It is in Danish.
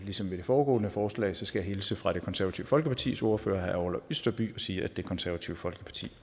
ligesom ved det foregående forslag skal jeg hilse fra det konservative folkepartis ordfører herre orla østerby og sige at det konservative folkeparti